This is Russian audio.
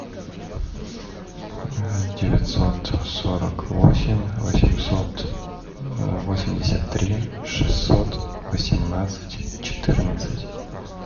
девятьсот сорок восемь восемьсот восемьдесят три шестьсот восемнадцать четырнадцать